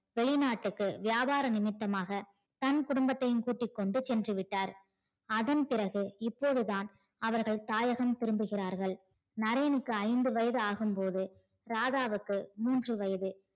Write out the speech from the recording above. வெளிநாட்டுக்கு வியாபார நிமித்தமாக தன் குடும்பத்தையும் கூட்டி கொண்டு சென்றுவிட்டார் அதன் பிறகு இப்போதுதான் அவர்கள் தாயகம் திரும்புகிறார்கள் நரேனுக்கு ஐந்து வயது ஆகும் போது ராதாவுக்கு மூன்று வயது